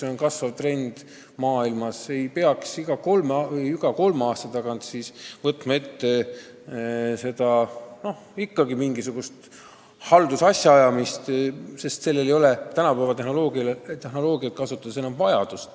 Nad ei pea iga kolme aasta tagant võtma ette mingisugust haldusasjaajamist, sest selle järele ei ole tänu tänapäevasele tehnoloogiale enam vajadust.